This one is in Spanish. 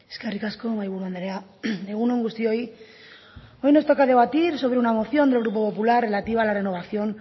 eskerrik asko mahaiburu andrea egunon guztioi hoy nos toca debatir sobre una moción del grupo popular relativa a la renovación